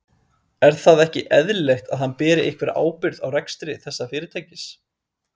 Er það ekki eðlilegt að hann beri einhverja ábyrgð á rekstri þessa fyrirtækis?